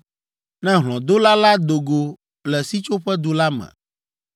“ ‘Ne hlɔ̃dola la do go le sitsoƒedu la me,